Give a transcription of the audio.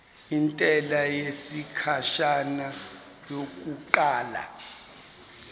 intela yesikhashana yokuqala